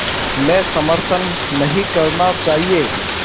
में समर्थन नहीं करना चाहिए